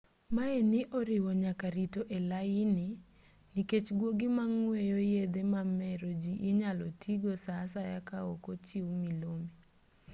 maye ni oriwo nyaka rito e laini nikech guogi mang'weyo yedhe mamero ji inyalo tii go saa asaya kaok ochiw milome